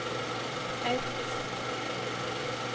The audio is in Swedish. ett